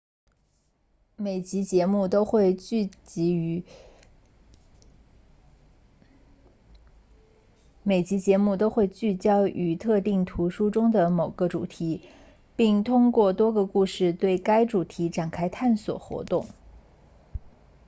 每集节目都会聚焦于特定图书中的某个主题并通过多个故事对该主题展开探索活动